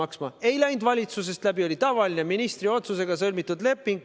See ei käinud valitsusest läbi, vaid oli tavaline ministri otsusega sõlmitud leping.